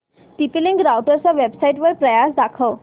TP link राउटरच्या वेबसाइटवर price दाखव